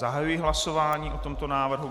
Zahajuji hlasování o tomto návrhu.